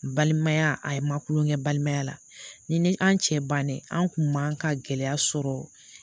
Balimaya a ye ma kulon kɛ balimaya la ni an cɛ bannen an kun man ka gɛlɛya sɔrɔ